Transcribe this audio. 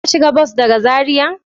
Ka shiga bas daga zarai?